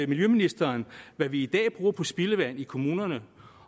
miljøministeren hvad vi i dag bruger på spildevand i kommunerne